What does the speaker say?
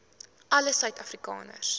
alle suid afrikaners